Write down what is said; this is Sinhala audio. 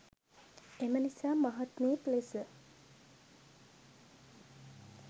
එම නිසා මහත්මයෙක් ලෙස